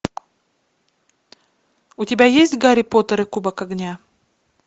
у тебя есть гарри поттер и кубок огня